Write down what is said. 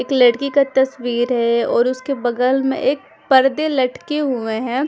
एक लड़की का तस्वीर है और उसके बगल में एक पर्दे लटके हुए है।